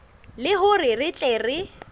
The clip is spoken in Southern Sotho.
le hore re tle re